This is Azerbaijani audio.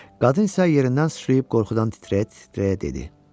Qadın isə yerindən sıçrayıb qorxudan titrəyə-titrəyə dedi: